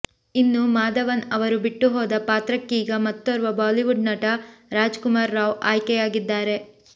ಇನ್ನು ಮಾಧವನ್ ಅವರು ಬಿಟ್ಟು ಹೋದ ಪಾತ್ರಕ್ಕೀಗ ಮತ್ತೋರ್ವ ಬಾಲಿವುಡ್ ನಟ ರಾಜ್ ಕುಮಾರ್ ರಾವ್ ಆಯ್ಕೆಯಾಗಿದ್ದಾರೆ